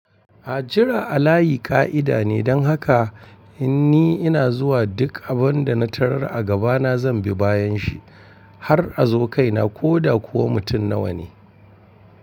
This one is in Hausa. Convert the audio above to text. A jira a layi ƙa’ida ne, don haka in ni ina zuwa duk abin da na tarar a gabana zan bi bayan shi har a zo kaina ko da kuwa mutum nawa ne.